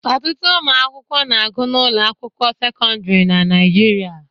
Ọtụtụ ụmụ akwụkwọ na-agụ n'ụlọ akwụkwọ sekọndịrị na Naịjirịa